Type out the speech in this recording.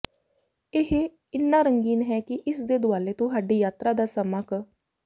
ਇਹ ਇੰਨਾ ਰੰਗੀਨ ਹੈ ਕਿ ਇਸ ਦੇ ਦੁਆਲੇ ਤੁਹਾਡੀ ਯਾਤਰਾ ਦਾ ਸਮਾਂ ਕੱ